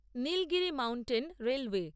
Nilgiri mountain railway